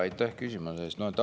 Aitäh küsimuse eest!